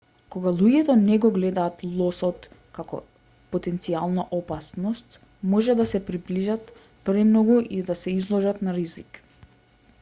кога луѓето не го гледаат лосот како потенцијална опасност може да се приближат премногу и да се изложат на ризик